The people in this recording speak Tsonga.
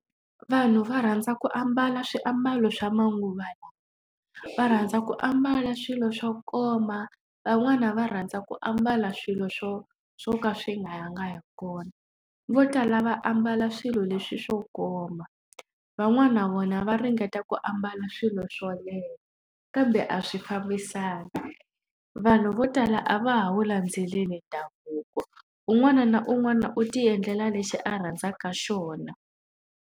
Vanhu va rhandza ku ambala swiambalo swa manguva lawa. Va rhandza ku ambala swilo swo koma, van'wani va rhandza ku ambala swilo swo swo ka swi nga yangi hi kona. Vo tala va ambala swilo leswi swo koma, van'wana na vona va ringeta ku ambala swilo swo leha kambe a swi fambisani. Vanhu vo tala a va ha wu landzeleli ndhavuko, un'wana na un'wana u tiendlela lexi a rhandzaka xona.